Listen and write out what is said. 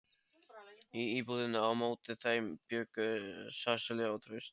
Í íbúðinni á móti þeim bjuggu Sesselía og Trausti.